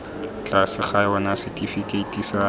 tlase ga yona setifikeiti sa